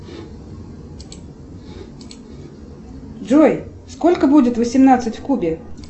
джой сколько будет восемнадцать в кубе